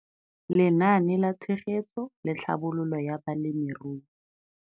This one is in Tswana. Lenaane la Tshegetso le Tlhabololo ya Balemirui.